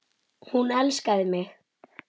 Hún elskaði mig.